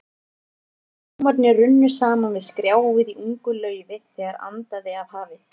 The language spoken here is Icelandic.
Orgelhljómarnir runnu saman við skrjáfið í ungu laufi, þegar andaði af hafi.